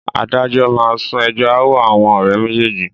Adájọ́ máa sún ẹjọ́ ááwọ̀ àwọn ọ̀rẹ́ méjèèjì